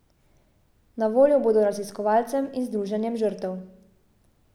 Na voljo bodo raziskovalcem in združenjem žrtev.